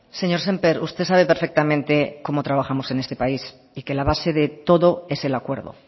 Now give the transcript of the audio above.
señor sémper usted sabe perfectamente cómo trabajamos en este país y que la base de todo es el acuerdo